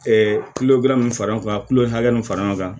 kulodilan hakɛ mun fara ɲɔgɔn kan